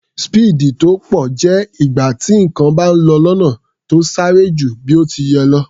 Speed tó pọ̀ jẹ́ ìgbà tí nǹkan bá lọ lọ́nà tó sáré ju bí ó ti yẹ lọ.